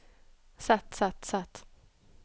sett sett sett